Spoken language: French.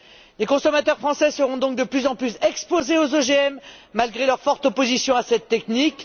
Les consommateurs français seront donc de plus en plus exposés aux OGM malgré leur forte opposition à cette technique.